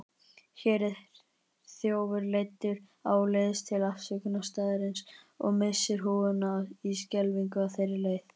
Hér er þjófur leiddur áleiðis til aftökustaðarins og missir húfuna í skelfingu á þeirri leið.